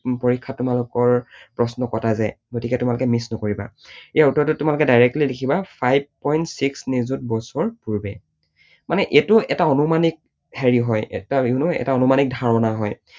পৰীক্ষাত তোমালোকৰ প্ৰশ্ন কটা যায়। গতিকে তোমালোকে miss নকৰিবা। এই উত্তৰটোত তোমালোকে directly লিখিবা five point six নিযুত বছৰ পূৰ্বে। মানে এইটো এটা আনুমানিক হেৰি হয়, এটা you know এটা আনুমানিক ধাৰণা হয়।